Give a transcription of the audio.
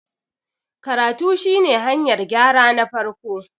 karatu shi ne hanyar gyra na farko